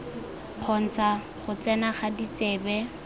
kgontsha go tsena ga ditsebe